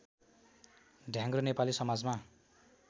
ढ्याङ्ग्रो नेपाली समाजमा